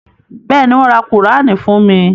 Bẹ́ẹ̀ni, wọ́n ra Kùránì fún mi.